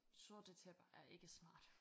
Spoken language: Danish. Sorte tæpper er ikke smart